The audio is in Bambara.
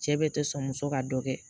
Cɛ bɛɛ tɛ sɔn muso ka dɔ kɛ